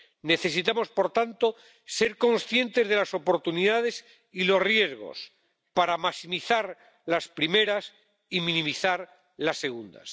Necesitamos, por tanto, ser conscientes de las oportunidades y los riesgos para maximizar las primeras y minimizar los segundos.